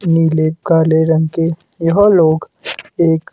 नीले काले रंग के यह लोग एक--